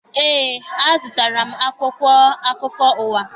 Eé, a zụtara m akwụkwọ akụkọ ụwa.